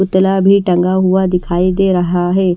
पुतला भी टंगा हुआ दिखाई दे रहा है।